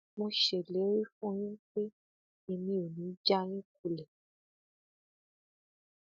mo ṣèlérí fún yín pé èmi ò ní í já yín kulẹ